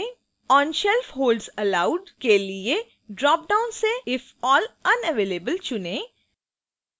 on shelf holds allowed के लिए dropdown से if all unavailable चुनें